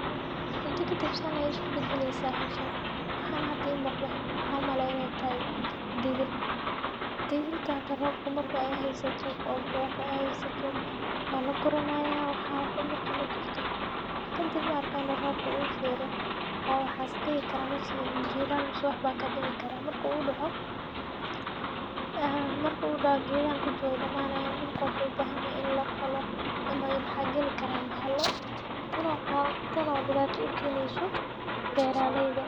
Muddo kadib san aya isku bedeleysaa howshan. waxaana hada ii muqdo waxaan u malay inay tahay digir, digirta hada roobka marku haysato oo burwaqo haysato waa la guranayaa waxaa oo dan marki la gurto , kadib la arka eno roobka uu fero oo waxaas dhihi kara meeshan jiilaal mase waxba ka dhici kara marka uu dhaco ,marka uu dhaco geedahan kuli way dhamaan yaan, dhulka wuxuu u baahan yahay in la falo ,maxa geli karaan bahalo ,taan oo dhibaato u keeneyso beeraaleyda.